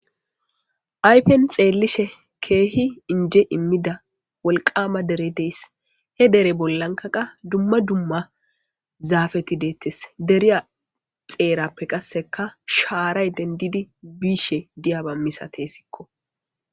Aypen xeellishe keehi inje immida wolqama dere dees he dere bollankaqa dumma dumma zaafeti deettes deriya xeerappe qasseka shaaray dendidi biishe diyaba misate sikko